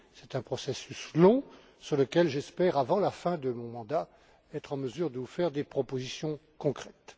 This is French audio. C'est un processus long, sur lequel j'espère, avant la fin de mon mandat, être en mesure de vous faire des propositions concrètes.